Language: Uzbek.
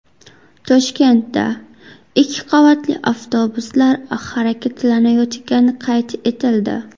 Toshkentda ikki qavatli avtobuslar harakatlanayotgani qayd etildi.